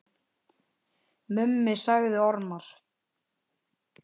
Mummi sagði ormar.